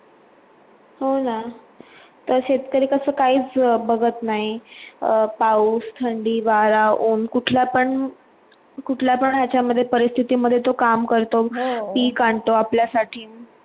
ओला तर शेतकरी कसा काय बघत नाही? पाऊस थंडी वारा ऊन पण कुठल्या पण कुटल्या पन याच्यामध्ये परिस्थितीमध्ये तो काम करतो हो पीक आणतो आपल्या साठी